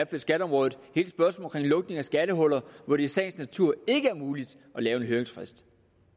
på skatteområdet hele spørgsmålet om lukning af skattehuller hvor det i sagens natur ikke er muligt at lave en høringsfrist